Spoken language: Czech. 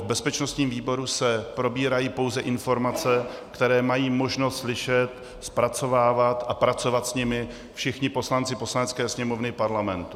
V bezpečnostním výboru se probírají pouze informace, které mají možnost slyšet, zpracovávat a pracovat s nimi všichni poslanci Poslanecké sněmovny Parlamentu.